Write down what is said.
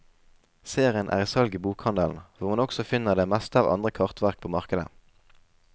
Serien er i salg i bokhandelen, hvor man også finner det meste av andre kartverk på markedet.